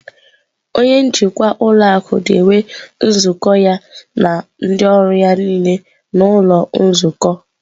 Onye njikwa ụlọ akụ na-enwe nzukọ ya na ndị ọrụ ya niile n'ụlọ nzukọ.